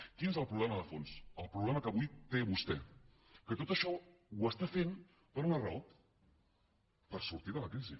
quin és el problema de fons el problema que avui té vostè que tot això ho està fent per una raó per sortir de la crisi